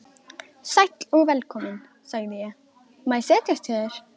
Sæll og velkominn, sagði ég, má ég setjast hjá þér.